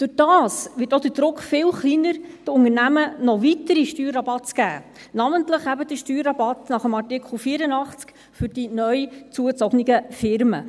Dadurch wird auch der Druck viel kleiner, den Unternehmen noch weitere Steuerrabatte zu geben, namentlich eben die Steuerrabatte nach dem Artikel 84 für die neu zugezogenen Firmen.